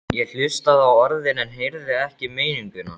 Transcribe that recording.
Ég hlustaði á orðin en heyrði ekki meininguna.